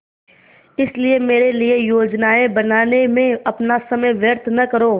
इसलिए मेरे लिए योजनाएँ बनाने में अपना समय व्यर्थ न करो